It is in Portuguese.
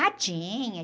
Ah, tinha.